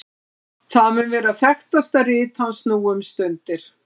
það mun vera þekktasta rit hans nú um stundir